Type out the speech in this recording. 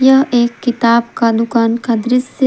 यह एक किताब का दुकान का दृश्य--